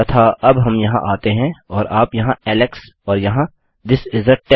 तथा अब हम यहाँ आते हैं और आप यहाँ एलेक्स और यहाँ थिस इस आ test